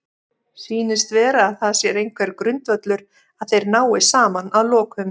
Sýnist vera að það sé einhver grundvöllur að þeir nái saman að lokum?